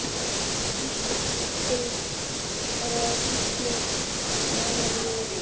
Fyrir á Gísli Amelíu Rós.